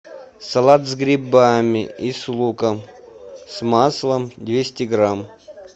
салат с грибами и с луком с маслом двести грамм